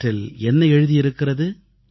அவற்றில் என்ன எழுதியிருக்கிறது